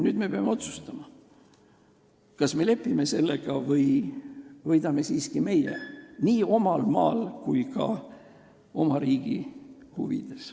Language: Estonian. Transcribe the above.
Nüüd me peame otsustama, kas me lepime sellega või võidame siiski meie – nii omal maal kui ka mujal oma riigi huvides.